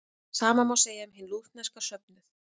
Sama má segja um hinn lútherska söfnuð.